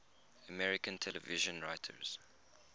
american television writers